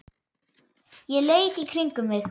Ég leit í kringum mig.